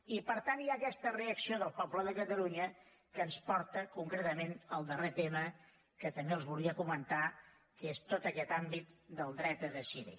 i per tant hi ha aquesta reacció del poble de catalunya que ens porta concretament al darrer tema que també els volia comentar que és tot aquest àmbit del dret a decidir